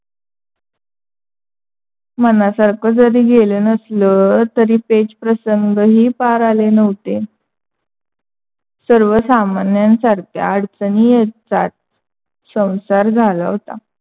मनासारख जरी गेल नसल, तरी पेच प्रसंग ही पार आले नव्हते. सर्वसामान्यासारख्या अडचणी येत जात संसार झाल.